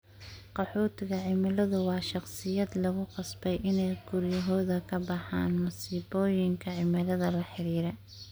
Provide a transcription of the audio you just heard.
Qaxootiga cimiladu waa shaqsiyaad lagu qasbay inay guryahooda ka baxaan masiibooyinka cimilada la xiriira.